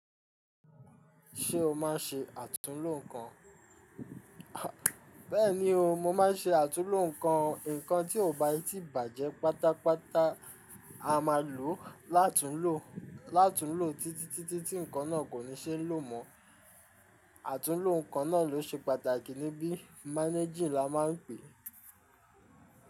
Ṣé o má n ṣe àtúnlò nǹkan? Bẹ́ẹ̀ni o, mo má n ṣe àtúnlò nǹkan. Ǹkan tí ó bá yí ti bàjẹ́ pátápátá, a máa lòó látún lò ó títí tí ǹkan náà kò ní ṣeé lò mọ́. Àtúnlò ǹkan náà ló ṣe pàtàkì níbí. Managing la máa ń pè é.